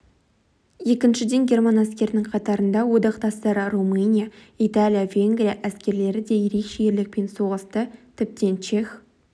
екіншіден герман әскерінің қатарында одақтастары румыния италия венгрия әскерлері де ерекше ерлікпен соғысты тіптен чех